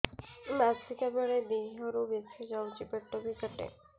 ମାସିକା ବେଳେ ଦିହରୁ ବେଶି ଯାଉଛି ପେଟ ବି କାଟେ